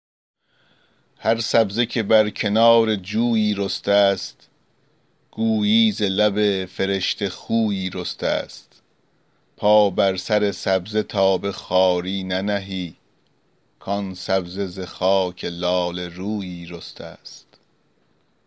هر سبزه که بر کنار جویی رسته ست گویی ز لب فرشته خویی رسته ست پا بر سر سبزه تا به خواری ننهی کآن سبزه ز خاک لاله رویی رسته ست